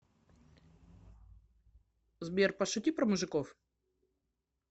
сбер пошути про мужиков